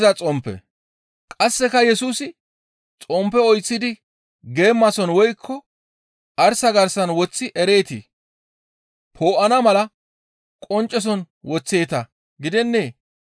Qasseka Yesusi, «Xomppe oyththidi geemason woykko arsa garsan woththi ereetii? Poo7ana mala qoncceson woththeeta gidennee?